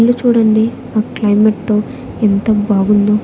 ఇల్లు చూడండి ఆ క్లైమేట్ తో ఎంత బాగుందో.